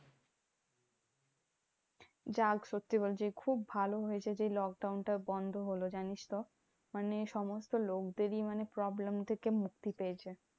যাক সত্যি বলছি খুব ভালোই হয়েছে যে, lockdown টা বন্ধ হলো জানিস তো? মানে সমস্ত লোকদেরই মানে problem থেকে মুক্তি পেয়েছে।